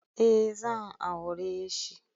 Eh zan aureshi